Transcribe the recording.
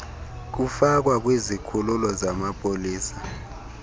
kufakwa kwizikhululo zamapolisa